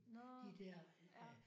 Nåh ja